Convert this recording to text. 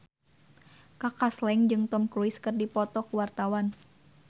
Kaka Slank jeung Tom Cruise keur dipoto ku wartawan